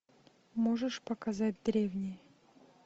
можешь показать древние